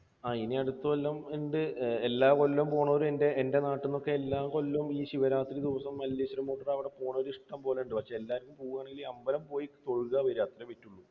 ആ ഇനി അടുത്ത കൊല്ലം ഉണ്ട്. എല്ലാ കൊല്ലവും പോണവർ എൻറെ നാട്ടിൽ നിന്നൊക്കെ എല്ലാ കൊല്ലവും ഈ ശിവരാത്രി ദിവസം അവിടെ പോകണോരൊക്കെ ഇഷ്ടം പോലെയുണ്ട്. പക്ഷേ എല്ലാവരും പോവുകയാണെങ്കിൽ അമ്പലം പോയി തൊഴുക, വരിക അത്രയേ പറ്റുകയുള്ളൂ.